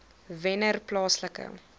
wennerplaaslike